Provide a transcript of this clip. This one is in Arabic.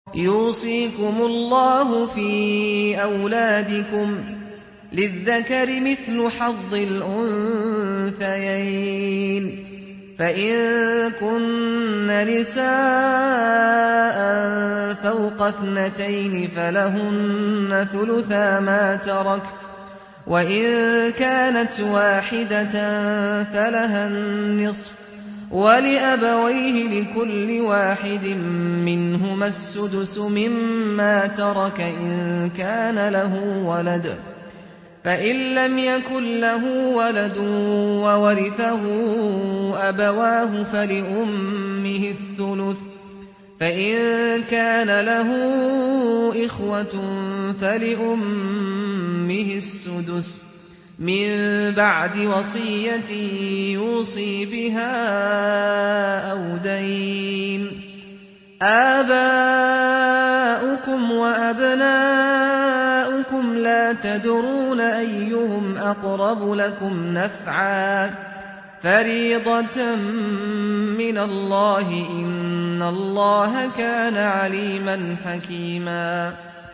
يُوصِيكُمُ اللَّهُ فِي أَوْلَادِكُمْ ۖ لِلذَّكَرِ مِثْلُ حَظِّ الْأُنثَيَيْنِ ۚ فَإِن كُنَّ نِسَاءً فَوْقَ اثْنَتَيْنِ فَلَهُنَّ ثُلُثَا مَا تَرَكَ ۖ وَإِن كَانَتْ وَاحِدَةً فَلَهَا النِّصْفُ ۚ وَلِأَبَوَيْهِ لِكُلِّ وَاحِدٍ مِّنْهُمَا السُّدُسُ مِمَّا تَرَكَ إِن كَانَ لَهُ وَلَدٌ ۚ فَإِن لَّمْ يَكُن لَّهُ وَلَدٌ وَوَرِثَهُ أَبَوَاهُ فَلِأُمِّهِ الثُّلُثُ ۚ فَإِن كَانَ لَهُ إِخْوَةٌ فَلِأُمِّهِ السُّدُسُ ۚ مِن بَعْدِ وَصِيَّةٍ يُوصِي بِهَا أَوْ دَيْنٍ ۗ آبَاؤُكُمْ وَأَبْنَاؤُكُمْ لَا تَدْرُونَ أَيُّهُمْ أَقْرَبُ لَكُمْ نَفْعًا ۚ فَرِيضَةً مِّنَ اللَّهِ ۗ إِنَّ اللَّهَ كَانَ عَلِيمًا حَكِيمًا